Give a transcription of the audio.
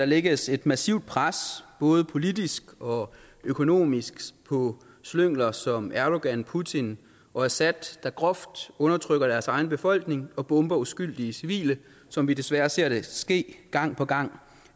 lægges et massivt pres både politisk og økonomisk på slyngler som erdogan putin og assad der groft undertrykker deres egen befolkning og bomber uskyldige civile som vi desværre ser det ske gang på gang